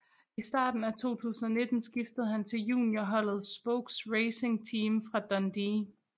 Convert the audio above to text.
I starten af 2019 skiftede han til juniorholdet Spokes Racing Team fra Dundee